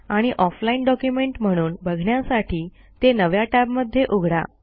आणि offline document म्हणून बघण्यासाठी ते नव्या टॅबमध्ये उघडा